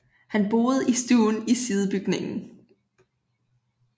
Han boede i stuen i sidebygningen